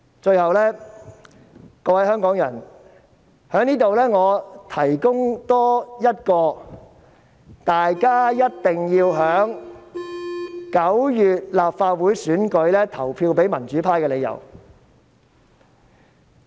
最後，各位香港人，我在這裏多提供一項大家一定要在9月立法會選舉投票予民主派的理由。